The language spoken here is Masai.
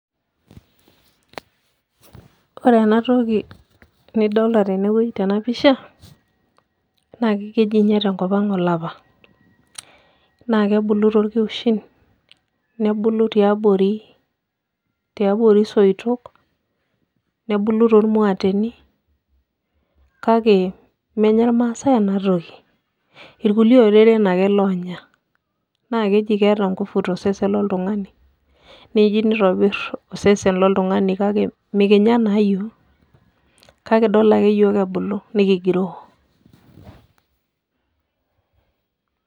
Ore ena toki nadolta tena pisha naa keji tenkop ang' olapa, naa kebulu torkiushin nebulu tiabori isoitok nebulu tormuateni kake menya irmaasai ena toki irkulie oreren ake loonya naa keji keeta nguvu tosesen loltung'ani neji nitonyorr osesen loltung'ani kake mikinya naa iyiook kakidol ake iyiook ebulu nekigiroo.